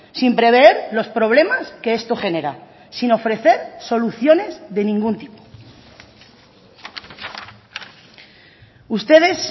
sin prever los problemas que esto genera sin ofrecer soluciones de ningún tipo ustedes